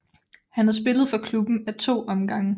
Han har spillet for klubben af to omgange